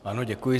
Ano, děkuji.